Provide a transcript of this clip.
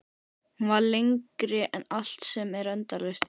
Hún var lengri en allt sem er endalaust.